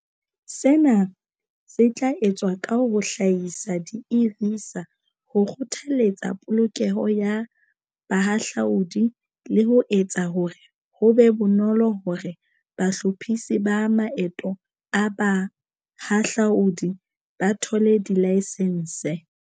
Sena se tla etswa ka ho hlahisa di-e-visa, ho kgothaletsa polokeho ya bahahlaudi le ho etsa hore ho be bonolo hore bahlophisi ba maeto a bahahlaodi ba thole dilaesense.